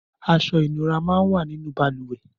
Aṣọ inúrà mà n wà ninú bàlùwẹ̀